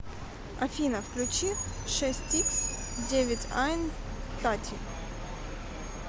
афина включи шестьиксдевятьайн тати